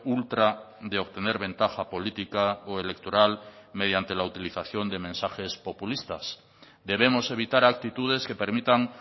ultra de obtener ventaja política o electoral mediante la utilización de mensajes populistas debemos evitar actitudes que permitan